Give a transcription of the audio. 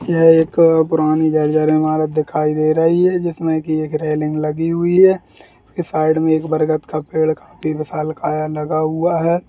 ये एक पुरानी झर-झर ईमारत दिखाई दे रही है जिसमें की एक रेलिंग लगी हुई है | साइड में एक बरगद का पेड़ काफी विशालकाय लगा हुआ है।